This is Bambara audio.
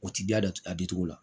O ti ja datugu a da cogo la